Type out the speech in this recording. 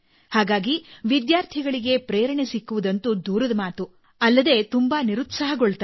ಹಾಗಾಗಿ ವಿದ್ಯಾರ್ಥಿಗಳಿಗೆ ಪ್ರೇರಣೆ ಸಿಕ್ಕುವುದಂತೂ ದೂರದ ಮಾತು ಅಲ್ಲದೇ ತುಂಬಾ ನಿರುತ್ಸಾಹಗೊಳ್ಳುತ್ತಾರೆ